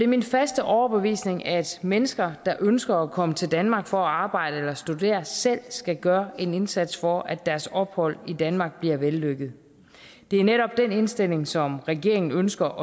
min faste overbevisning at mennesker der ønsker at komme til danmark for at arbejde eller studere selv skal gøre en indsats for at deres ophold i danmark bliver vellykket det er netop den indstilling som regeringen ønsker